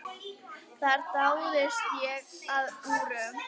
Þar dáðist ég að úrum.